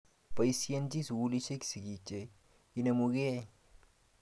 Poisyenchin sukulisyek sigik che inemu kei.